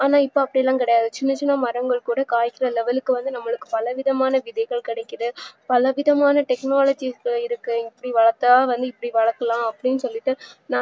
ஆனா இப்போ அப்டிகிடையாது சின்ன சின்ன மரங்கள்கூட காய்க்கிற level க்கு நம்மக்கு வந்து பலவிதமான விதைகள் கிடைக்குது பலவிதமான technologies இருக்கு இப்டி வளத்தா இப்டி வளக்கலாம் அப்டின்னு சொல்லிட்டு